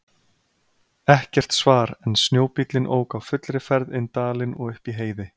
Ekkert svar en snjóbíllinn ók á fullri ferð inn dalinn og upp í Heiði.